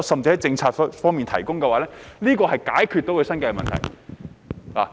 政府可否提出政策，以解決他們的生計問題？